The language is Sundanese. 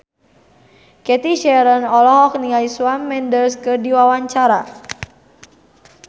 Cathy Sharon olohok ningali Shawn Mendes keur diwawancara